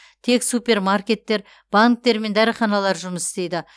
тек супермаркеттер банктер мен дәріханалар жұмыс істейді